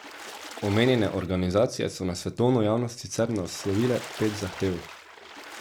Omenjene organizacije so na svetovno javnost sicer naslovile pet zahtev.